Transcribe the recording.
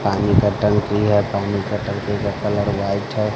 पानी का टंकी है पानी का टंकी का कलर व्हाइट है।